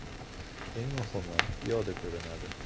Eng muhimi, piyoda ko‘rinadi.